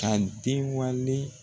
Ka den wale